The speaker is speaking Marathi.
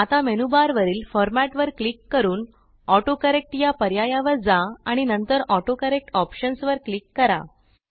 आता मेनूबारवरील फॉर्मॅट वर क्लिक करूनAutoCorrectया पर्यायावर जा आणि नंतरAutoCorrect Optionsवर क्लिक करा